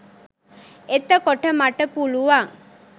එතකොට මට පුළුවන්